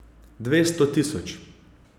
Dvesto tisoč.